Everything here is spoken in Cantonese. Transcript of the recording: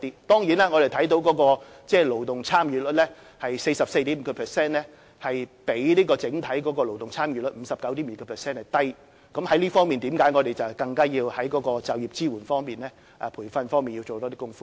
當然，我們看到勞動參與率是 44.5%， 比整體勞動參與率 59.2% 為低，正因為這樣我們要在就業支援及培訓方面多做工夫。